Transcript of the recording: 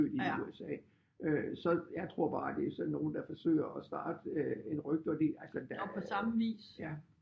I USA så jeg tror bare at det er sådan nogle der forsøger at starte øh et rygte og det